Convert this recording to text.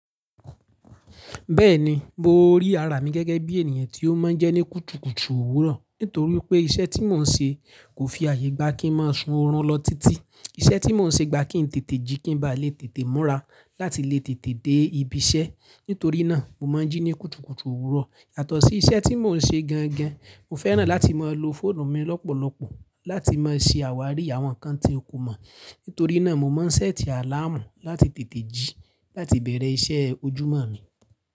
Bẹ́ẹ̀ni, mo rí ara mi gẹ́gẹ́ bí ènìyàn tí ó máa ń jẹ́ ní kùtùkùtù òwúrọ̀. Nítorí pé iṣẹ́ tí mò ń ṣe kò fi àyè gba kí ń máa sun orun lọ títí. Iṣẹ́ tí mò ń ṣe gba kí ń tètè jí kí ń ba lè tètè múra láti lè tètè dé ibi iṣẹ́. Nítorí náà, mo máa ń jí ní kùtùkùtù òwúrọ̀. Yàtọ̀ sí iṣẹ́ tí mò ń ṣe gangan, mo fẹ́ràn láti máa lo fóònù mi lọ́pọ̀lọpọ̀ láti máa ṣe àwárí àwọn nǹkan tí n kò mọ̀. Nítorí náà mo máa ń ṣẹ́ẹ̀tì àláàmù láti tètè jí láti bẹ̀rẹ̀ iṣẹ́ ojúmọ́ mi.